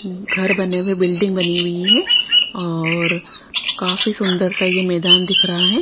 घर बने हुए बिल्डिंग बनी हुई है और काफी सुंदर सा यह मैदान दिख रहा है।